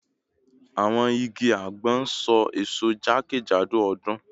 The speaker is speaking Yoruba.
Awọn igi agbon n so eso jakejado ọdun